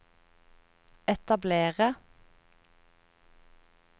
etablere